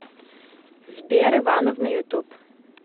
сбер ивановна ютуб